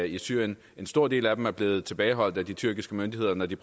i syrien en stor del af dem er blevet tilbageholdt af de tyrkiske myndigheder når de